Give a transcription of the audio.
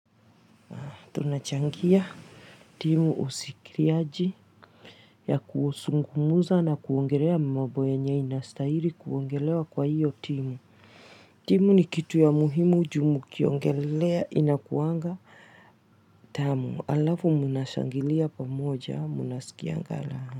Tunachangia timu ushirikiaji ya kuzungumza na kuongelea mambo yenye inastahili kuongelewa kwa hiyo timu timu ni kitu ya muhimu ju mkiongelea inakuanga tamu alafu mnashangilia pamoja mnasikianga raha.